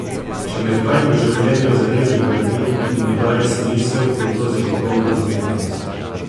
Če me kaj v življenju zares bogati in mi daje smisel, je to zagotovo umetnost.